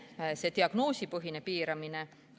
Teiseks, diagnoosipõhine piiramine.